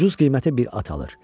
Ucuz qiymətə bir at alır.